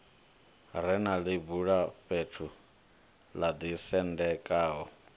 re na ḽibulafhethu ḽo ḓisendekaho